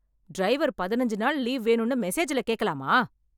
Driver பதுனெஞ்சு நாள் leave வேணும்னு மெசேஜ்ல கேக்கலாமா?